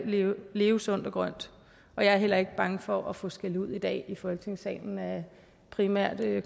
leve leve sundt og grønt og jeg er heller ikke bange for at få skældud i dag i folketingssalen af primært